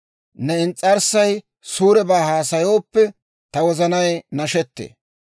ne ins's'arssay suurebaa haasayooppe, ta wozanay nashettee.